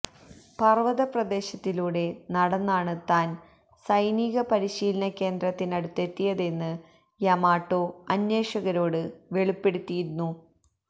പർവത പ്രദേശത്തിലൂടെ നടന്നാണ് താൻ സൈനികപരിശീലന കേന്ദ്രത്തിനടുത്തെത്തിയതെന്ന് യമാട്ടോ അന്വേഷകരോട് വെളിപ്പെടുത്തിയിരുന്നു